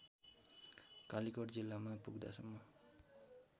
कालीकोट जिल्लामा पुग्दासम्म